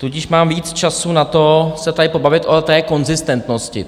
Tudíž mám víc času na to se tady pobavit o té konzistentnosti.